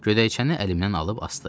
Gödəkçəni əlimdən alıb asdı.